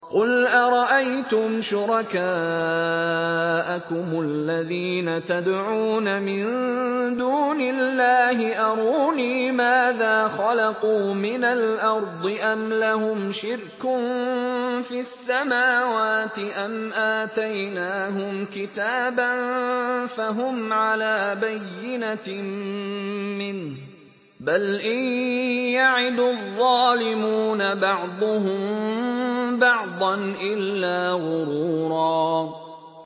قُلْ أَرَأَيْتُمْ شُرَكَاءَكُمُ الَّذِينَ تَدْعُونَ مِن دُونِ اللَّهِ أَرُونِي مَاذَا خَلَقُوا مِنَ الْأَرْضِ أَمْ لَهُمْ شِرْكٌ فِي السَّمَاوَاتِ أَمْ آتَيْنَاهُمْ كِتَابًا فَهُمْ عَلَىٰ بَيِّنَتٍ مِّنْهُ ۚ بَلْ إِن يَعِدُ الظَّالِمُونَ بَعْضُهُم بَعْضًا إِلَّا غُرُورًا